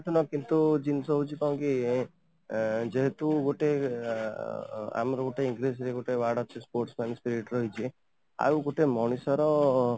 ପ୍ରଥମ କିନ୍ତୁ ଜିନିଷ ହଉଛି କ'ଣ କି ଯେହେତୁ ଗୋଟେ ଆମର ଗୋଟେ english ରେ ଗୋଟେ word ଅଛି sportsman ସେଇଥିରେ ରହିଛି ଆଉ ଗୋଟେ ମଣିଷ ର